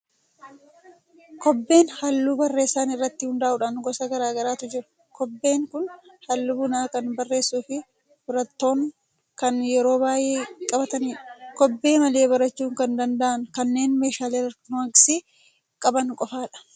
Kobbeen halluu barreessan irratti hundaa'uun gosa garaa garaatu jiru. Kobbeen kun halluu bunaa kan barreessuu fi barattoon kan yeroo baay'ee qabatanidha. Kobbee malee barachuu kan danda'an kanneen meeshaalee elektirooniksii qaban qofaadha.